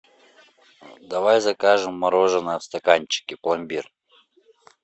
давай закажем мороженое в стаканчике пломбир